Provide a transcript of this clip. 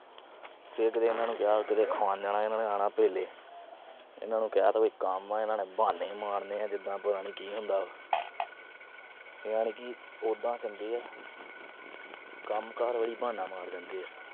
ਫਿਰ ਕਦੇ ਇਹਨਾਂ ਨੂੰ ਜਾਂ ਕਿਤੇ ਖੁਵਾਉਣ ਜਾਣਾ, ਇਹਨਾਂ ਨੇ ਆਣਾ ਭੇਲੇ, ਇਹਨਾਂ ਨੂੰ ਕਿਹਾ ਤਾਂ ਵੀ ਕੰਮ ਆ, ਇਹਨਾਂ ਨੇ ਬਹਾਨੇ ਈ ਮਾਰਨੇ ਆ, ਜਿਦਾਂ ਪਤਾ ਨੀ ਕੀ ਹੁੰਦਾ। ਯਾਨੀ ਕਿ ਉਦਾ ਚੰਗੇ ਆ। ਕੰਮਕਾਰ ਵਾਰੀ ਬਹਾਨਾ ਮਾਰ ਜਾਂਦੇ ਆ।